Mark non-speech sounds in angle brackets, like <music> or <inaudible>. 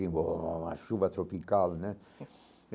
<unintelligible> Uma chuva tropical né.